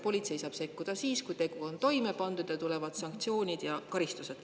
Politsei saab sekkuda siis, kui tegu on toime pandud, siis tulevad sanktsioonid ja karistused.